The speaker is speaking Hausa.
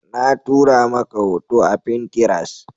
Na tura maka hoto a fintiras